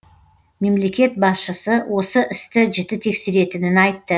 мемлекет басшысы осы істі жіті тексеретінін айтты